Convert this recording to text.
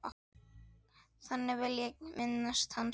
Þannig vil ég minnast hans.